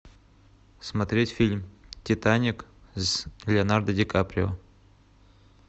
смотреть фильм титаник с леонардо ди каприо